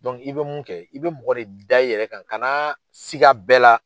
i bɛ mun kɛ, i bɛ mɔgɔ de da i yɛrɛ kan, kanaa siga bɛɛ la.